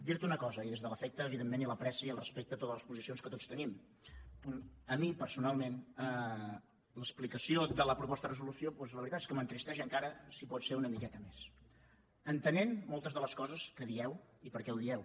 dirte una cosa i des de l’afecte evidentment i l’ apreci i el respecte a totes les posicions que tots tenim a mi personalment l’explicació de la proposta de resolució doncs la veritat és que m’entristeix encara si pot ser una miqueta més entenent moltes de les coses que dieu i per què ho dieu